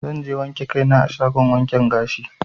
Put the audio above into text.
Zanje wanke kai na a shagon wanke gashi.